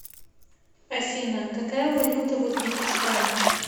афина какая валюта в узбекистане